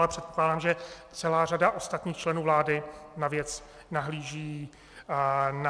Ale předpokládám, že celá řada ostatních členů vlády na věc nahlíží podobně.